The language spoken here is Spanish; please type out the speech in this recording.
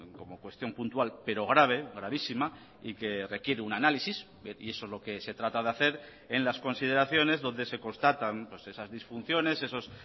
como cuestión puntual pero grave gravísima y que requiere un análisis y eso es lo que se trata de hacer en las consideraciones donde se constatan esas disfunciones esos